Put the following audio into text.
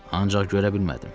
Ancaq görə bilmədim.